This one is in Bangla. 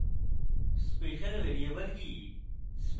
special variables কি